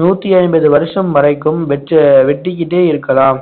நூத்தி ஐம்பது வருஷம் வரைக்கும் வெச்சு வெட்டிக்கிட்டே இருக்கலாம்